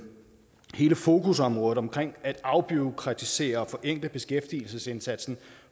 hele fokusområdet omkring at afbureaukratisere og forenkle beskæftigelsesindsatsen